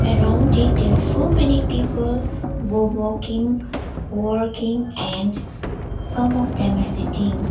around it there are so many people wo walking working and some of them are sitting.